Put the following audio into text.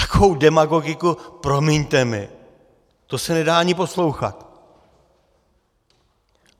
Takovou demagogiku, promiňte mi, to se nedá ani poslouchat.